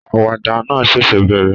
Àwàdà náà ṣẹ̀ṣẹ̀ bẹ̀rẹ̀